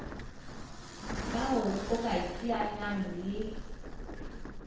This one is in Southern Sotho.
bao o ka iteanyang le